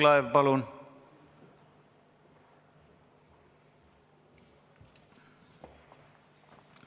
Mart Võrklaev, palun!